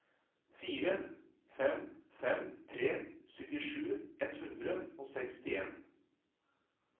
fire fem fem tre syttisju ett hundre og sekstien